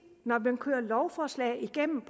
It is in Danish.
når man kører lovforslag igennem